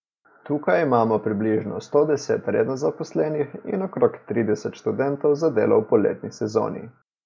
Tukaj imamo približno sto deset redno zaposlenih in okrog trideset študentov za delo v poletni sezoni.